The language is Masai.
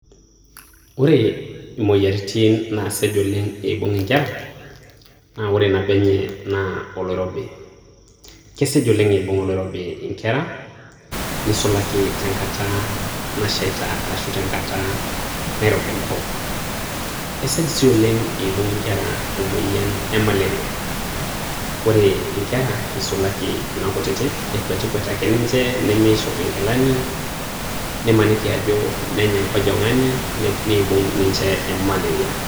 Ore imoyiaritin naasej oleng' eibung' inkera naa ore nabo enye naa oloirobi, kesej oleng eibung' oloirobi inkera, neisulaki tenkata nashaita arashu tenkata nairobi enkop, esej sii oleng' eibung' inkera emoyian e malaria kore inkera eisulaki kuna kutitik ekwetikwet ake ninche nemeishop inkilani, nimaniki ajo nenya onkojongani neibung ninche Olmalaria.